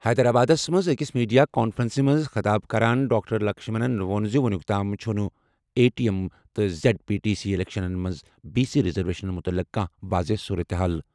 حیدرآبادَس منٛز أکِس میڈیا کانفرنسَس منٛز خطاب کران ڈاکٹر لکشمنَن ووٚن زِ وُنیُک تام چھُنہٕ ایم ٹی سی تہٕ زیڈ پی ٹی سی اِلیکشنَن منٛز بی سی ریزرویشن مُتعلِق کانٛہہ واضح صورتہِ حال۔